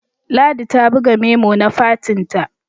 ladi ta buga memo na fatinta